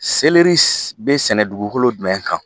Seleri bɛ sɛnɛ dugukolo jumɛn kan?